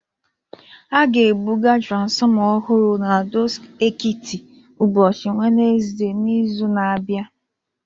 A ga-ebuga transformer ọhụrụ n'Ado-Ekiti ụbọchị Wenezde n'izu na-abịa